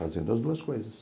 Fazendo as duas coisas.